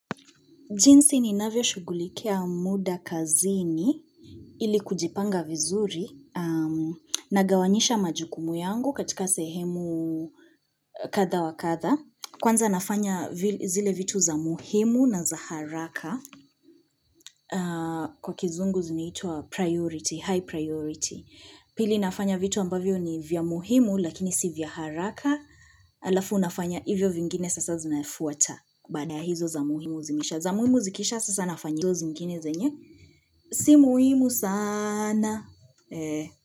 Jinsi ni navyo shugulikia muda kazini ili kujipanga vizuri na gawanyisha majukumu yangu katika sehemu kadha wa kadha. Kwanza nafanya zile vitu za muhimu na za haraka kwa kizungu zinitwa priority, high priority. Pili nafanya vitu ambavyo ni vya muhimu lakini si vya haraka alafu nafanya hivyo vingine sasa zinafuata baada ya hizo za muhimu zimeisha. Za muimu zikisha sasa nafanya hizo zingine zenye si muhimu saaana ee.